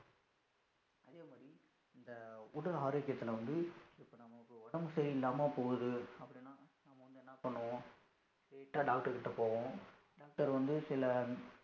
உடல் ஆரோக்கியதுள வந்து இப்போ நமக்கு உடம்பு சரியில்லாம போகுது, அப்படினா என்னா பண்ணுவோம், straight ஆ doctor கிட்ட போவோம் doctor வந்து சில